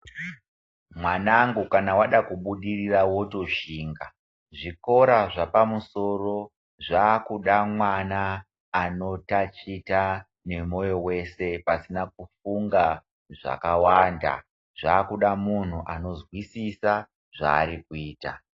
Mwanangu kana wada kubudirira wotoshinga. Zvikora zvepamusoro zvakuda mwana anotachita nemwoyo wese pasina kufunga zvakawanda. Zvakuda muntu unozwisisa zvaari kuita.